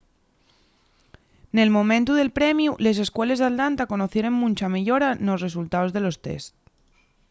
nel momentu del premiu les escueles d’atlanta conocieren muncha meyora nos resultaos de los tests